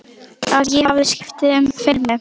Að ég hafi skipt um filmu.